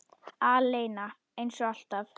Aleina, eins og alltaf.